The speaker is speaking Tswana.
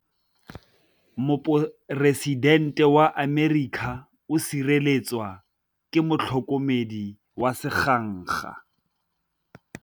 Poresitêntê wa Amerika o sireletswa ke motlhokomedi wa sengaga.